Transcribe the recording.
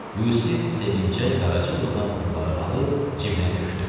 Yusif sevinclə Qaraca qızdan pulları alıb cibinə tökdü.